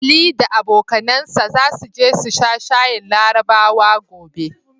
Ali da abokanansa zasu je su sha shayin Larabawa gobe.